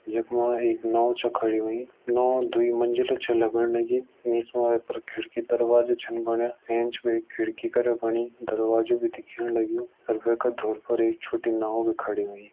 जख मां एक नाव छ खड़ी ह्वईं। नाव दुई मंजिला छ लगण लगीं। निस मा वे पर खिड़की दरवाजा छन बणियां। एंच वे खिड़की करा बणि दरवाजो बि दिखेण लग्युं। अर वैका धूर फर एक छोटी नाव बि खड़ी हुईं।